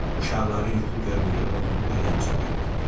Uşaqların yuxu görməyi onun ürəyincə deyildi.